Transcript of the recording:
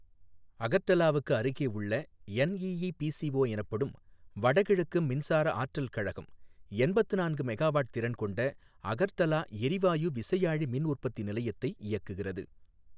அகர்டலாவுக்கு அருகே உள்ள என்ஈஈபிசிஓ எனப்படும் வடகிழக்கு மின்சார ஆற்றல் கழகம் எண்பத்து நான்கு மெகாவாட் திறன் கொண்ட அகர்டலா எரிவாயு விசையாழி மின் உற்பத்தி நிலையத்தை இயக்குகிறது.